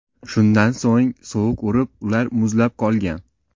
Shundan so‘ng sovuq urib, ular muzlab qolgan.